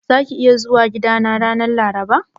Zaka iya zuwa gidana ranar Laraba?